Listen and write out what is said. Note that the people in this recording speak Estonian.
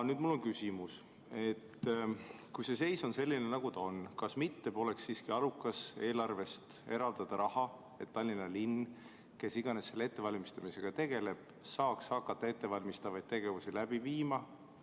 Nüüd on mul küsimus: kui see seis on selline, nagu ta on, kas mitte poleks siiski arukas eelarvest eraldada raha, et Tallinna linn või kes iganes selle ettevalmistamisega tegeleb, saaks hakata ettevalmistavaid tegevusi läbi viima?